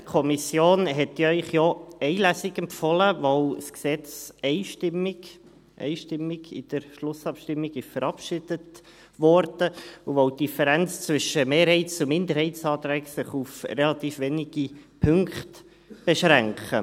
Die Kommission hat Ihnen ja eine Lesung empfohlen, weil das Gesetz in der Schlussabstimmung einstimmig –– verabschiedet wurde und weil sich die Differenz zwischen Mehrheits- und Minderheitsanträgen auf relativ wenige Punkte beschränkt.